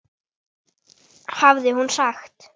hafði hún sagt.